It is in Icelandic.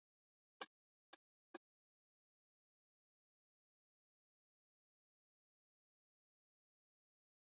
Við töluðum um Guð í dag, segir nýja fóstran og brosir í dyragættinni.